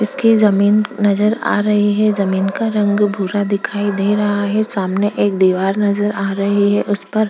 इसके जमीन नजर आ रही है जमीन का रंग भूरा दिखाई दे रहा है सामने एक दिवार नजर आ रही है उसपर--